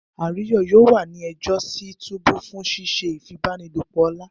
Ayo yoo wa ni ẹjọ si túbú fun sise ifipabanilopo ọla.